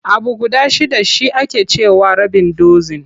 Abu guda shidda shi ake ce wa rabin dozin.